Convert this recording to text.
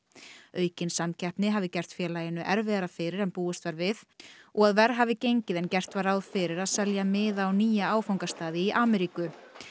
aukin samkeppni hafi gert félaginu erfiðara fyrir en búist var við og verr hafi gengið en gert var ráð fyrir að selja miða á nýja áfangastaði í Ameríku